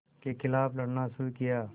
के ख़िलाफ़ लड़ना शुरू किया